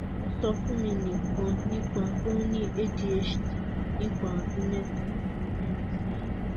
o sọ fun mi nikan nipa pe o ni adhd nipa ọdun meeta tabi meerin sẹhin